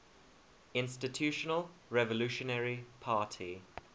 institutional revolutionary party